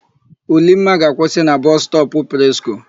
Ulimma ga-akwụsị na Bọsụ stọpụ Presko.